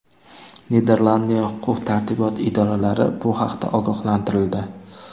Niderlandiya huquq-tartibot idoralari bu haqda ogohlantirildi.